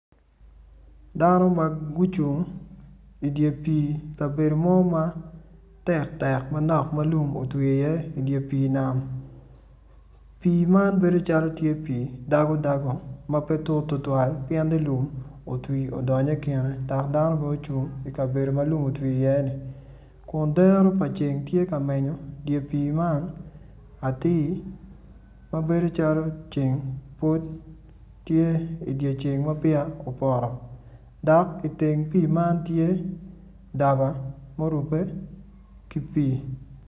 Dano ma gucung ikabedo mo ma tektek manok ma lum otwi iye idye nam pii man bedo calo tye pii dagodago ma pe tut tutwal pien-ni lum otwi odongo kine dok dano bene ocung ikabedo ma lum otwi iye kun dero pa ceng tye ka menyo dye pii man atir ma bedo calo ceng pud tye idye ceng ma peya opoto dok iteng pii man tye daba ma orubbe ki pii.